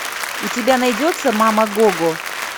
у тебя найдется мама гого